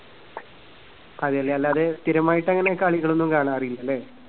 അതെയല്ലേ. അല്ലാതെ സ്ഥിരമായിട്ട് അങ്ങനെ കളികളൊന്നും കാണാറില്ലല്ലേ?